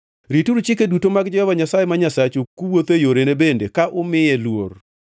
Rituru chike duto mag Jehova Nyasaye ma Nyasachu, kuwuotho e yorene bende ka umiye luor.